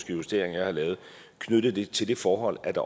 justeringer jeg har lavet knyttet til det forhold at